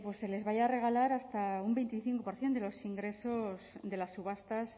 se les vaya a regalar hasta un veinticinco por ciento de los ingresos de las subastas